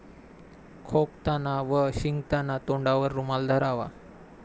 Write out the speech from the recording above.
खोकताना व शिंकताना तोंडावर रुमाल धरावा.